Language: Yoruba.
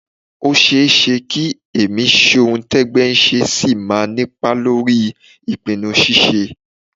Ó ṣeé ṣe kí ẹ̀mí ṣohun-tẹ́gbẹ́-ń-ṣe ṣì máa nípa lórí ìpinnu ṣíṣe